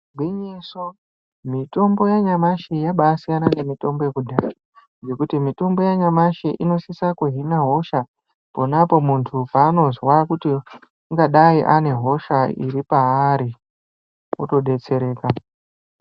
Gwinyiso, mitombo yanyamashi yaba yasiyana nemitombo yekudhaya ngekuti mitombo yanyamashi inosisa kuhina hosha ponapo muntu paanozwa kuti ungadai ane hosha iri paari otodetsereka.